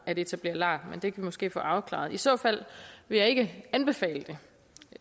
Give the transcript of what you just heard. at etablere lar men det vi måske få afklaret i så fald vil jeg ikke anbefale det